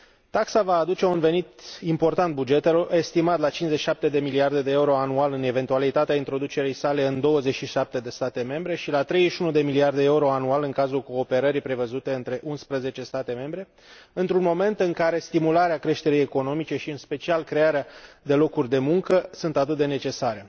Taxa va aduce un venit important bugetelor, estimat la 57 de miliarde de euro anual în eventualitatea introducerii sale în 27 de state membre, și la 31 de miliarde euro anual în cazul cooperării prevăzute între 11 state membre, într un moment în care stimularea creșterii economice și, în special, crearea de locuri de muncă, sunt atât de necesare.